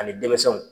Ani denmisɛnw